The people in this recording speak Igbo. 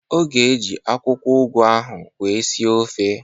Ọ ga-eji akwụkwọ ụgụ ahụ wee sie ofe